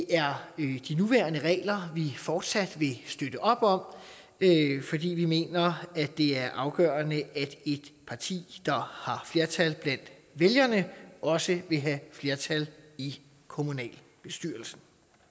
er de nuværende regler vi fortsat vil støtte op om fordi vi mener at det er afgørende at et parti der har flertal blandt vælgerne også vil have flertal i kommunalbestyrelsen